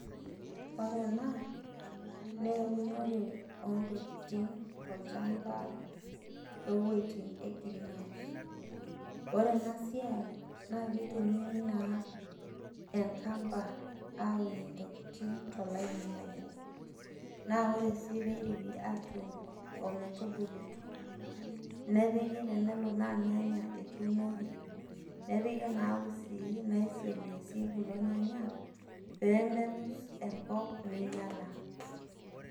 Ore ena, neunore ontokiting tolchamba toweiting e greenhouse. Ore enasiai, na kitumiai naa enkamba aunie intokiting tolaini obo, na ore si peidipi atuun ometubulutu, nepiki tenelo naa irnyanya etuunoki, nepiki naa usii naisong'isie kulo nyanya, pemelus enkop neinyala.